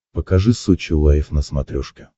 покажи сочи лайв на смотрешке